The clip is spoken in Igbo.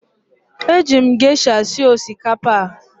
Eji m gesha sie osikapa a.